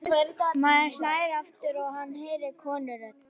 Maðurinn hlær aftur og hann heyrir konurödd.